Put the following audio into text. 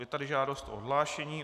Je tady žádost o odhlášení.